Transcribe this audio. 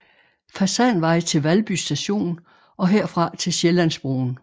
Fasanvej til Valby Station og herfra til Sjællandsbroen